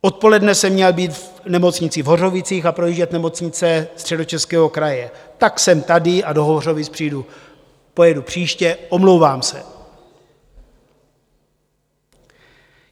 Odpoledne jsem měl být v nemocnici v Hořovicích a projíždět nemocnice Středočeského kraje, tak jsem tady a do Hořovic pojedu příště, omlouvám se.